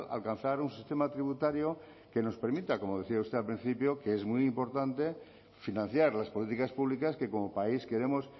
alcanzar un sistema tributario que nos permita como decía usted al principio que es muy importante financiar las políticas públicas que como país queremos